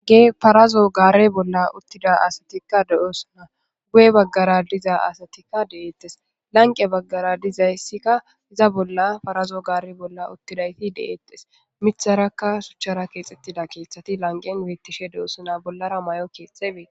ge parazo gaare bolla uttida asatikka de7oosuna guye baggara diza asatikka deeettes lanqe baggara dizayssikka iza bolla farazo gaare bolla uttidayti deeettes mitharaka shuchchara keexxettida keeththati lanqen beettishe de7oosuna bollara may7o keexxebee